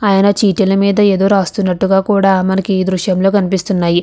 ఆయన చీటీల మీద ఏదో రాస్తున్నట్టుగా కూడా మనకి ఈ దృశ్యంలో కనిపిస్తున్నాయి.